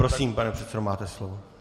Prosím, pane předsedo, máte slovo.